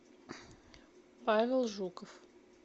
павел жуков